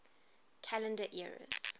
calendar eras